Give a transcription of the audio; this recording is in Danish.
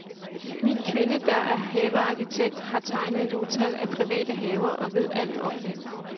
Min kvinde, der er havearkitekt og har tegnet et utal af private haver, ved alt om det.